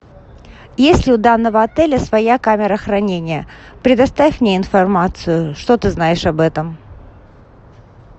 есть ли у данного отеля своя камера хранения предоставь мне информацию что ты знаешь об этом